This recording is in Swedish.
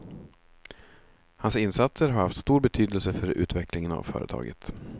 Hans insatser har haft stor betydelse för utvecklingen av företaget.